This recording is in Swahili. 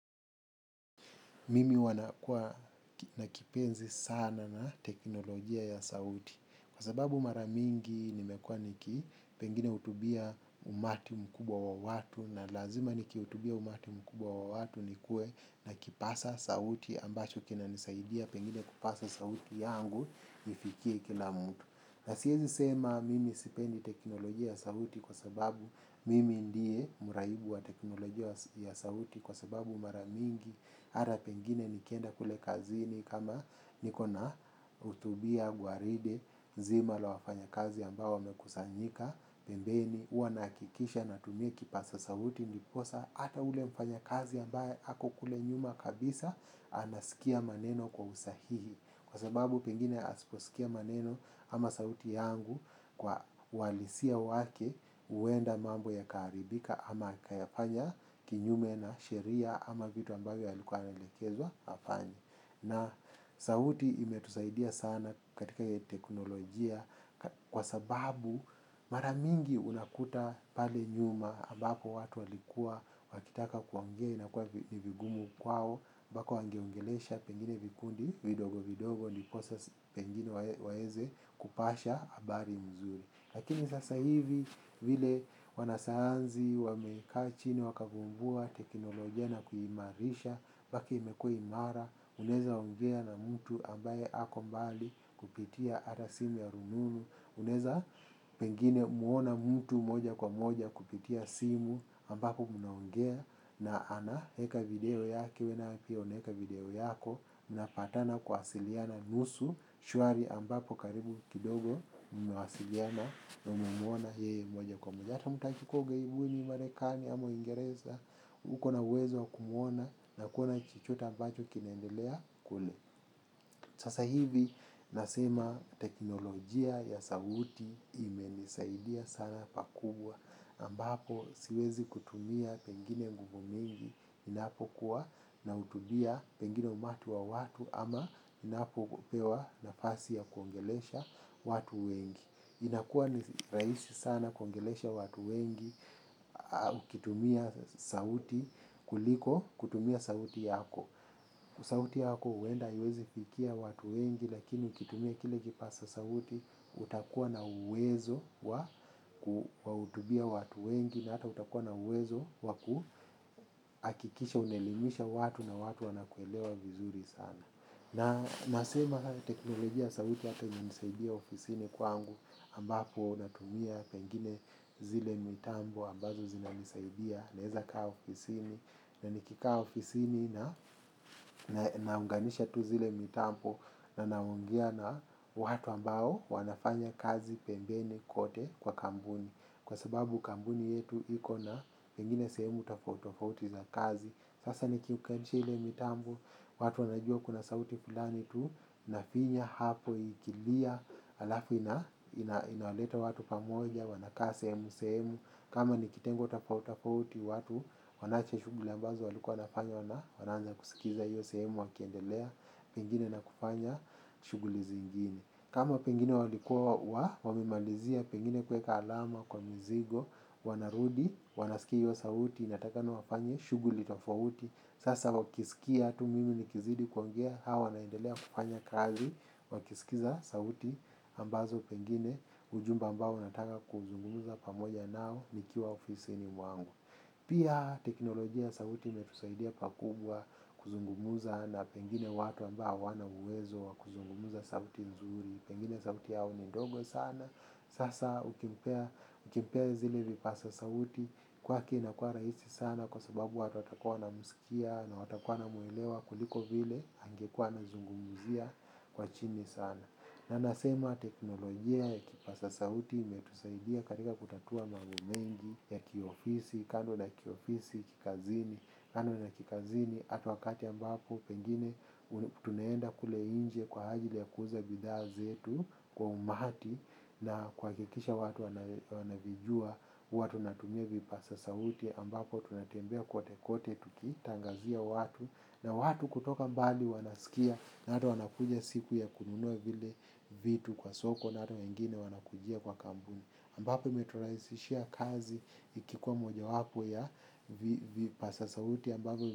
Mimi huwa na kipenzi sana na teknolojia ya saudi kwa sababu mara mingi nimekuwa niki pengine utubia umati mkubwa wa watu na lazima nikiutubia umati mkubwa wa watu nikuwe na kipasa sauti ambacho kinanisaidia pengine kupasa sauti yangu ifikie kila mtu. Na siyewezi sema mimi sipendi teknolojia ya sauti kwa sababu mimi ndiye muraibu wa teknolojia ya sauti kwa sababu mara mingi, mara pengine nikienda kule kazi kama nikona utubia, gwaride, zima la wafanya kazi ambao wamekusanyika, pembeni, hua nahakikisha natumia kipasa sauti, ndiposa, hata ule mfanya kazi ambao ako kule nyuma kabisa, anasikia maneno kwa usahihi. Kwa sababu pengine asiposikia maneno ama sauti yangu kwa walisia wake huenda mambo yakaharibika ama kayafanya kinyume na sheria ama vitu ambayo yaliku anaelekezwa afanye. Na sauti imetusaidia sana katika hii teknolojia kwa sababu mara mingi unakuta pale nyuma ambapo watu walikuwa wakitaka kuongea inakuwa ni vigumu kwao mbaka wangeongelesha pengine vikundi vidogo vidogo ndiposa pengine waeze kupasha habari mzuri. Lakini sasa hivi vile wanasayanzi, wamekaa chini, wakavumbua teknolojia na kuhimarisha Baka imekuwa imara, unaeza ongea na mtu ambaye ako mbali kupitia hata simu ya rununu unaeza pengine muona mtu moja kwa moja kupitia simu ambapo mnaongea. Na anaeka video yake, wewe pia unaeka video yako mnapatana kuasiliana nusu, shwari ambapo karibu kidogo mnawasiliana na muona yeye moja kwa moja tutamshukua ugaibuni marekani ama uingereza uko na uwezo wa kumuona na kuona chochote mbacho kinaendelea kule. Sasa hivi nasema teknolojia ya sauti imenisaidia sana pakubwa. Ambapo siwezi kutumia pengine nguvu mingi ninapokuwa nautubia pengine umatu wa watu ama ninapo pewa nafasi ya kuongelesha watu wengi. Inakuwa ni rahisi sana kuongelesha watu wengi, ukitumia sauti kuliko, kutumia sauti yako. Sauti yako huenda, hawezi fikia watu wengi, lakini ukitumia kile kipasa sauti, utakuwa na uwezo wa kuutubia watu wengi na hata utakuwa na uwezo wa kuhakikisha unaelimisha watu na watu wanakuelewa vizuri sana. Na nasema haya teknolojia ya sauti hata inanisaidia ofisini kwangu ambapo natumia pengine zile mitambo ambazo zinanisaidia naeza kaa ofisini nanikikaa ofisini naunganisha tu zile mitambo, na naongea na watu ambao wanafanya kazi pembeni kote kwa kambuni. Kwa sababu kambuni yetu ikona pengine sehemu tofauti tofauti za kazi, sasa nikiunganisha ile mitambo, watu wanajua kuna sauti fulani tu. Nafinya hapo ikilia. Alafu inaleta watu pamoja, wanakaa sehemu sehemu. Kama ni kitengo tofauti tofauti watu wanavyo shughli ambazo walikuwa wanafanya na wanaanza kusikiza hiyo sehemu wakiendelea pengine na kufanya shughuli zingine kama pengine walikuwa wamemalizia pengine kuweka alama kwa mzigo, wanarudi wanasikia hiyo sauti inatakikana wafanye shughuli tofauti. Sasa wakisikia tu mimi nikizidi kuongea hao wanaendelea kufanya kazi wakisikiza sauti ambazo pengine ujumbe ambao nataka kuzungumuza pamoja nao nikiwa ofisini mwangu. Pia teknolojia sauti imetusaidia pakubwa kuzungumuza na pengine watu ambao hawana uwezo wa kuzungumuza sauti nzuri pengine sauti yao ni ndogo sana sasa ukimpea zile vipasa sauti kwake inakuwa rahisi sana kwa sababu watu watakuwa wanamsikia na watakua wanamuelewa kuliko vile angekuwa anazungumzia kwa chini sana, na nasema teknolojia ya kipasa sauti imetusaidia katika kutatua mambo mengi ya kiofisi kando na kiofisi kikazini kando na kikazini hata wakati ambapo pengine tunaenda kule inje kwa ajili ya kuuza bidhaa zetu kwa umati na kuhakikisha watu wanavijua, huwa tunatumia vipasa sauti, ambapo tunatembea kwote kwote, tukitangazia watu, na watu kutoka mbali wanaskia, na hata wanakuja siku ya kununua vile vitu kwa soko, na hata wengine wanakujia kwa kambuni. Ambapo imeturahisishia kazi ikikuwa moja wapo ya vipasa sauti ambazo.